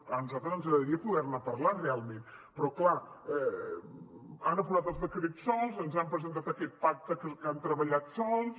bé a nosaltres ens agradaria poder ne parlar realment però clar han aprovat els decrets sols ens han presentat aquest pacte que han treballat sols